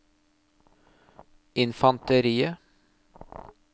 infanteriet